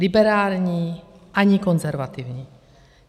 Liberální ani konzervativní.